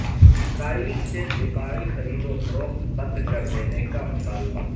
اسرائیل سے دفاعی خرید و فروخت بند کر دینے کا مطالبہ